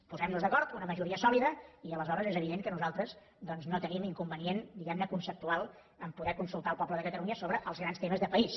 posem nos d’acord una majoria sòlida i aleshores és evident que nosaltres doncs no tenim inconvenient diguem ne conceptual a poder consultar el poble de catalunya sobre els grans temes de país